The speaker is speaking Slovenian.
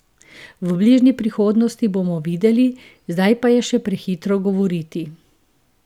V bližnji prihodnosti bomo videli, zdaj pa je še prehitro govoriti.